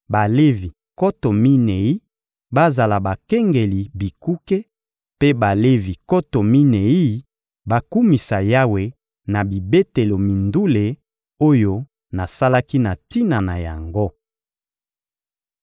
Balevi nkoto minei bazala bakengeli bikuke, mpe Balevi nkoto minei bakumisa Yawe na bibetelo mindule oyo nasalaki na tina na yango.»